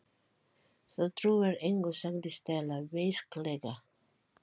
Þú trúir engu sagði Stella beisklega.